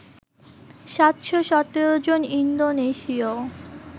৭১৭ জন ইন্দোনেশীয়